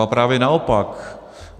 Ba právě naopak.